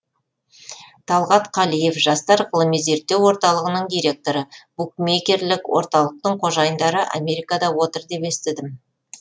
талғат қалиев жастар ғылыми зерттеу орталығының директоры букмерекерлік орталықтың қожайындары америкада отыр деп естідім